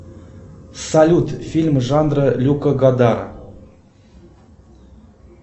салют фильм жанра люка годара